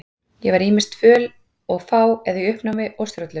Ég var ýmist föl og fá eða í uppnámi og stjórnlaus.